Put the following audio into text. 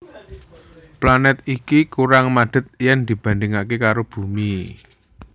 Planèt iki kurang madhet yen dibandhingaké karo Bumi